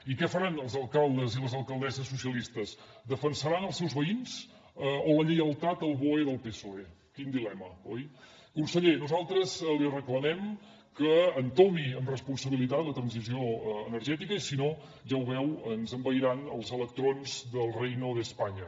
i què faran els alcaldes i les alcaldesses socialistes defensaran els seus veïns o la lleialtat al boe del psoe quin dilema oi conseller nosaltres li reclamem que entomi amb responsabilitat la transició energètica i si no ja ho veu ens envairan els electrons del reino de españa